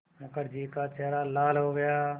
मुखर्जी का चेहरा लाल हो गया